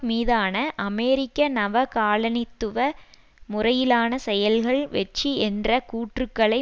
மீதான அமெரிக்க நவகாலனித்துவ முறையிலான செயல்கள் வெற்றி என்ற கூற்றுக்களை